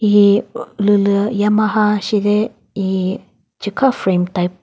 hihi ulülü yamaha shide hihi chikha frame type .